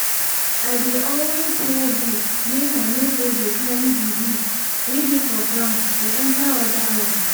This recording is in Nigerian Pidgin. i dey always wear boots make i no go dey carry disease way dey for ground dey enter other lands